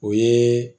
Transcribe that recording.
O ye